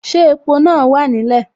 Ṣé epo náà wà nílẹ̀.